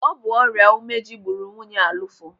Ọ bụ ọrịa ụmeji gburu nwunye Alụfọ.